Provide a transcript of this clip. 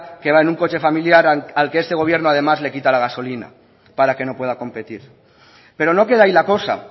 que va en un coche familiar al que este gobierno además le quita la gasolina para que no pueda competir pero no queda ahí la cosa